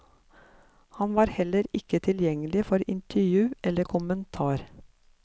Han var heller ikke tilgjengelig for intervju eller kommentar.